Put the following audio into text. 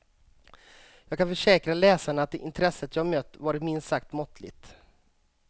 Jag kan försäkra läsarna att intresset jag mött varit minst sagt måttligt.